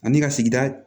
Ani ka sigida